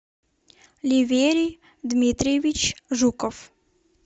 ливерий дмитриевич жуков